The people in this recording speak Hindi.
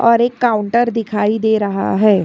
और एक काउंटर दिखाई दे रहा है।